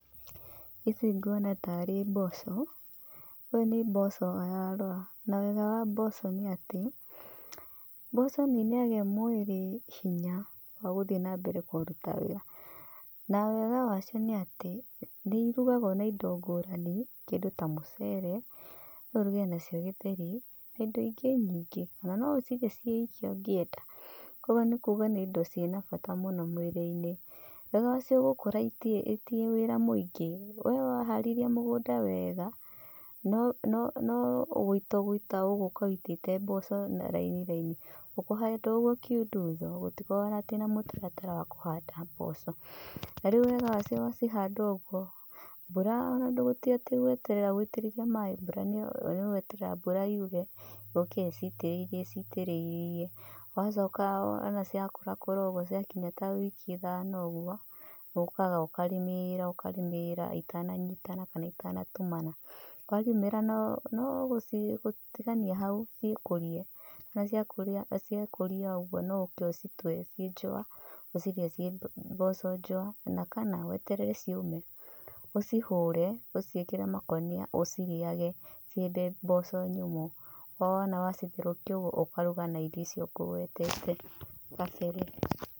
Ĩci nguona tarĩ mboco. Ũyũ nĩ mboco ararora. Na wega wa mboco nĩ atĩ, mboco nĩ ĩnaegĩ mwĩrĩ hinya wa gũthiĩ na mbere kũruta wĩra. Na wega wa cio nĩ atĩ, nĩ ĩrugagwo na ĩndo ngũrani. Kĩndũ ta mũcere, no ũrũge nacio githeri na ĩndo ĩngĩ nyingĩ ona no ũcirie ciiki ũngĩenda. Ũguo nĩ kuuga nĩ ĩndo cina bata mũno mwĩrĩ-inĩ. Wega wacio gũkũra itirĩ wĩra mũingĩ. We waharĩria mũgũnda wega, no gũita ũgũka ũitĩte mboco na raini raini. Ũkũhanda o oguo kiundutho gũtikoragwo atĩ na mũtaratara wa kũhannda mboco. Na rĩu wega wacio wacihanda ũguo, mbura ona tĩ atĩ ndũgũtinda ũgĩtĩrĩriamaaĩ no gwetera mbura yũre yũke icitĩrĩirie icitirĩirie. Wacoka wona ciakũrakũra ũguo ciakinya ta wiki ithano ũguo, nĩ ũkaga ũkarĩmĩra ũkarĩmĩra itananyitana kana itanatumana. Warĩmĩra no gũcitigania hau ciĩkũrie. Wona ciekũria ũguo no ũũke ũcitwe ci njũa ũcirĩe cie mboco njũa ona kana weterere ciũme. Ũcihũre ũciĩkĩre makũnia ũcirĩage cie mboco nyũmũ. O wona wacitherũkia ũguo ũkaruga na irio icio ngũgwetete kabere.